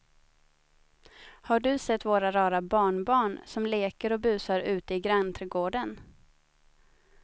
Har du sett våra rara barnbarn som leker och busar ute i grannträdgården!